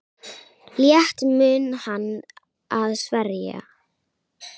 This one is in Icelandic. Létt mun hann að sverja.